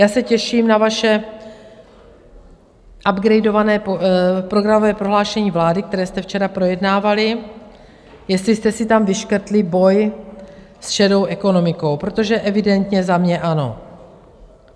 Já se těším na vaše upgradované programové prohlášení vlády, které jste včera projednávali, jestli jste si tam vyškrtli boj s šedou ekonomikou, protože evidentně za mě ano.